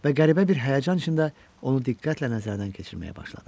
Və qəribə bir həyəcan içində onu diqqətlə nəzərdən keçirməyə başladım.